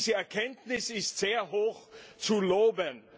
Diese Erkenntnis ist sehr hoch zu loben.